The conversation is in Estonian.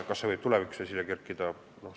Kas see võib tulevikus esile kerkida?